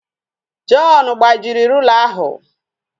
John gbajiri rula ahụ